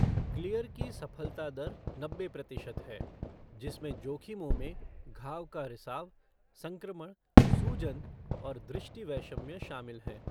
Clear की सफलता दर नब्बे प्रतिशत है जिसमें जोखिमों में घाव का रिसाव, संक्रमण, सूजन और दृष्टिवैषम्य शामिल हैं।